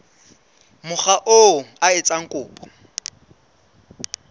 mokga oo a etsang kopo